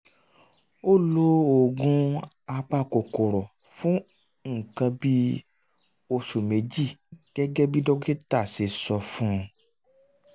um ó lo oògùn um apakòkòrò fún nǹkan bí oṣù méjì gẹ́gẹ́ bí dókítà ṣe sọ fún un